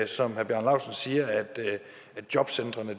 som herre bjarne laustsen siger at jobcentrene